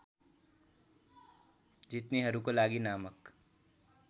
जित्नेहरूका लागि नामक